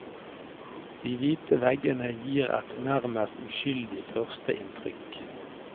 De hvite veggene gir et nærmest uskyldig førsteinntrykk.